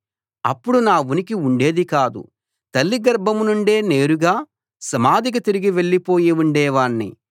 అప్పుడు నా ఉనికే ఉండేది కాదు తల్లి గర్భం నుండే నేరుగా సమాధికి తిరిగి వెళ్ళిపోయి ఉండేవాణ్ణి